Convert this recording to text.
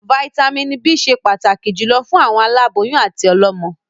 Vàìtamínií B ṣẹ pàtàkì jùlọ fún àwọn aláboyún àti ọlọ́mọ.